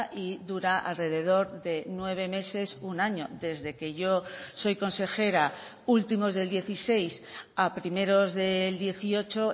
y dura alrededor de nueve meses un año desde que yo soy consejera últimos del dieciséis a primeros del dieciocho